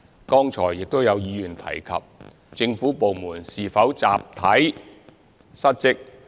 剛才亦有議員提及，政府部門是否集體失職。